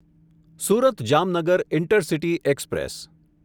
Surat Jamnagar intercity express